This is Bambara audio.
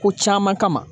Ko caman kama